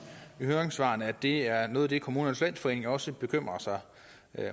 høringssvarene at det er noget af det kommunernes landsforening også bekymrer sig